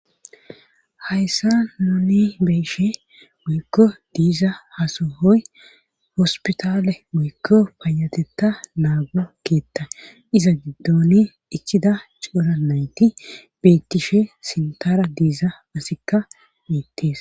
Hayssa moni beshe muykko diiza hasohoy hospitale muykko payatetta naago keetta iza giddoni ichida coura nayti bettishe sintara diiza masikka miittees.